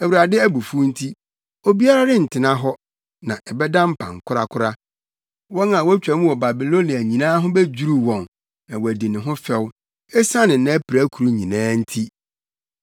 Awurade abufuw nti, obiara rentena hɔ na ɛbɛda mpan korakora. Wɔn a wotwa mu wɔ Babilonia nyinaa ho bedwiriw wɔn na wɔadi ne ho fɛw esiane nʼapirakuru nyinaa nti.